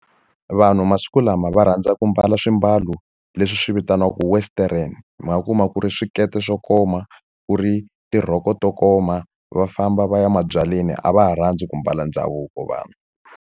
Vanhu masiku lama va rhandza ku ambala swiambalo leswi swi vitaniwaku western, mi nga kuma ku ri swikete swo koma, ku ri tirhoko to koma, va famba va ya mabyaleni. A va ha rhandzi ku ambala ndhavuko vanhu.